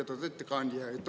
Lugupeetud ettekandja!